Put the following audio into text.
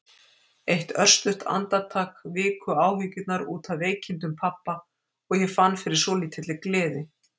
Eitt örstutt andartak viku áhyggjurnar út af veikindum pabba og ég fann fyrir svolítilli gleði.